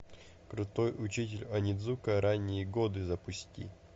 крутой учитель онидзука ранние годы запусти